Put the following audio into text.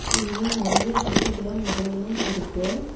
இங்கே நெறையா வீடுங்களும் மரங்களும் இருக்கு.